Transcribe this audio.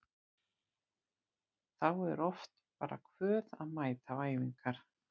Þá er oft bara kvöð að mæta á æfingar.